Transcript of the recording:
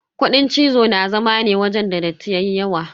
Kuɗin cizo na zama ne wajen da datti yayi yawa.